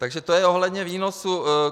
Takže to je ohledně výnosů.